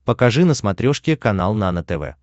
покажи на смотрешке канал нано тв